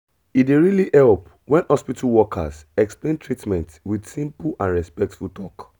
e dey really help when hospital workers explain treatment with simple and respectful talk